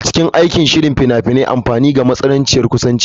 A cikin aikin sihiri a cikin fina-finai muna amfani da matsananciyar kusanci.